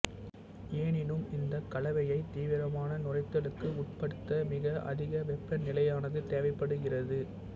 எனினும் இந்த கலவையைத் தீவிரமான நுரைத்தலுக்கு உட்படுத்த மிக அதிக வெப்பநிலையானது தேவைப்படுகிறது